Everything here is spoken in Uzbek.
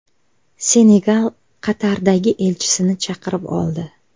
Senegal Qatardagi elchisini chaqirib oldi.